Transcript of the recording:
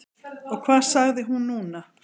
Og hvað sagði hún núna?